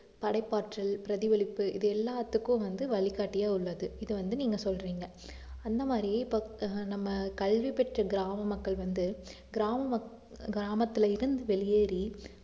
படைப்பாற்றல், பிரதிபலிப்பு இது எல்லாத்துக்கும் வந்து வழிகாட்டியா உள்ளது இதை வந்து நீங்க சொல்றீங்க அந்த மாதிரி இப்போ ஆஹ் நம்ம கல்வி பெற்ற கிராம மக்கள் வந்து கிராம மக்~ கிராமத்துல இருந்து வெளியேறி